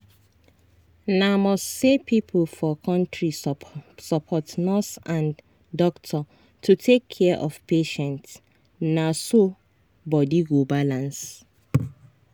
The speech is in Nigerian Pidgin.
na must say people for country support nurse and doctor to take care of patient na so body go balance.